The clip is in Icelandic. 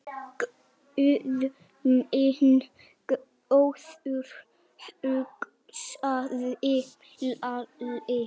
Guð minn góður, hugsaði Lalli.